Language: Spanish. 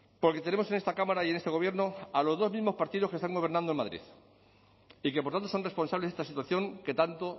porque tenemos en esta cámara y en este gobierno a los dos mismos partidos que están gobernando en madrid y que por tanto son responsables de esta situación que tanto